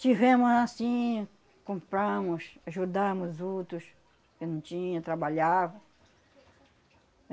Tivemos anssim, compramos, ajudamos os outros que não tinha, trabalhava.